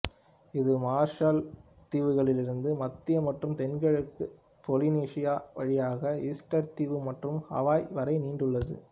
இது மார்ஷல் தீவுகளிலிருந்து மத்திய மற்றும் தென்கிழக்கு பொலினீசியா வழியாக ஈஸ்டர் தீவு மற்றும் ஹவாய் வரை நீண்டுள்ளது